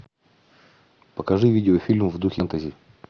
покажи видеофильм в духе фэнтези